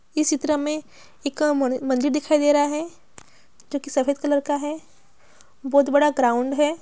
इस चित्र मे एक म- मंदिर दिखाई दे रहा हैं जोकी सफेद कलर का हैं बहुत बड़ा ग्राउन्ड हैं।